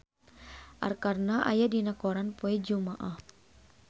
Arkarna aya dina koran poe Jumaah